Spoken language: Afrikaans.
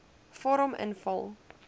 vorm invul